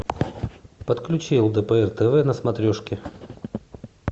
подключи лдпр тв на смотрешке